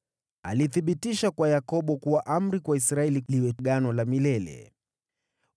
Alilithibitisha kwa Yakobo kuwa amri, kwa Israeli liwe agano la milele: